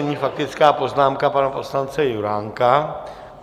Nyní faktická poznámka pana poslance Juránka.